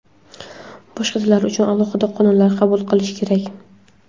Boshqa tillar uchun alohida qonunlar qabul qilish kerak.